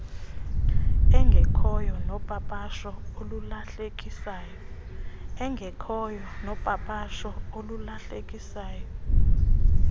engekhoyo nopapasho olulahlekisayo